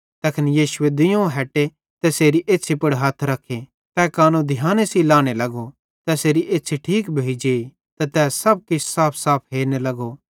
तैखन यीशुए दुइयोवं हटे तैसेरी एछ़्छ़न पुड़ हथ रखे तै कानो ध्याने सेइं लाने लगो तैसेरी एछ़्छ़ी ठीक भोइ जेई त तै सब किछ साफसाफ हेरने लगो